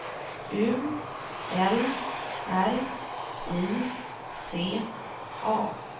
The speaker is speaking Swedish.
U L R I C A